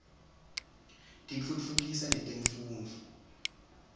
tiftutfukisa netemfundvo